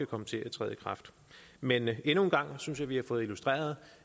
komme til at træde i kraft men endnu en gang synes jeg vi har fået illustreret